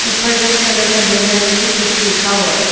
उपर red colour का banner मे भी कुछ लिखा हुआ है।